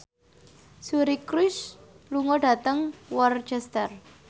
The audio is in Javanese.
Suri Cruise lunga dhateng Worcester